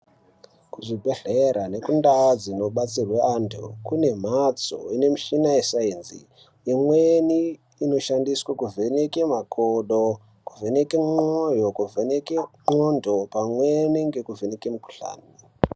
Kuzvibhedhlera nekundau dzinobetserwa antu kune mbatso ine mushina wesainzi imweni inoshandiswa kuvheneka makodo kuvheneka mwoyo kuvheneke ngonxo imweni nekuvheneke mikuhlani.